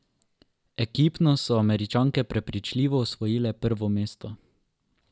Ekipno so Američanke prepričljivo osvojile prvo mesto.